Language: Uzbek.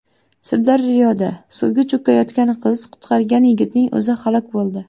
Sirdaryoda suvga cho‘kayotgan qizni qutqargan yigitning o‘zi halok bo‘ldi.